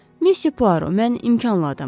Monsieur Poirot, mən imkanlı adamam.